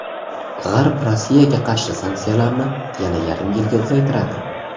G‘arb Rossiyaga qarshi sanksiyalarni yana yarim yilga uzaytiradi.